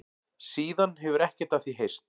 Síðan hefur ekkert af því heyrst